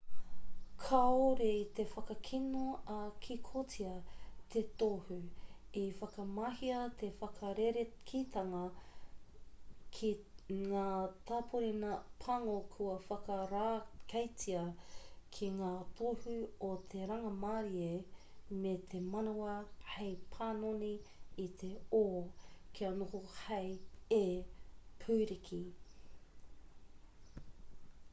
kāore i whakakino ā-kikotia te tohu i whakamahia te whakarerekētanga ki ngā tāpōrena pango kua whakarākeitia ki ngā tohu o te rangimārie me te manawa hei panoni i te o kia noho hei e pūriki